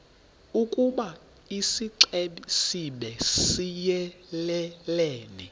ukoba isixesibe siyelelene